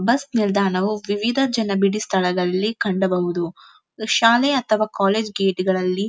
bus ನಿಲ್ದಾಣವು ವಿವಿಧ ಜನಬಿಡಿ ಸ್ಥಳದಲ್ಲಿ ಕಂಡಬಹುದು ಇದು ಶಾಲೆ ಅಥವಾ ಕಾಲೇಜ್ ಗೇಟ್ ಗಳಲ್ಲಿ --